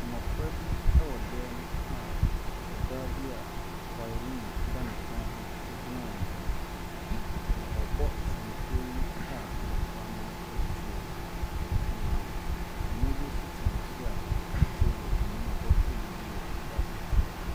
Mmɔfra bi ɛwɔ dan mu a ɔbaa bi a violin ɛda ne kɔn ho egyina wɔn anim. Na ɔrebɔ senkuo yi a mmɔfra no ɛretie. Na ɔpanyin bi nso te akyiri a ɔte table anim a ɔrehwɛ biribi wɔ krataa so.